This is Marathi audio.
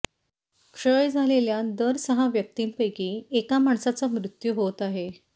क्षय झालेल्या दर सहा व्यक्तींपैकी एका माणसाचा मृत्यू होत आहे